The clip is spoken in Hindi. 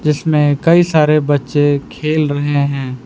जिसमें कई सारे बच्चे खेल रहे हैं।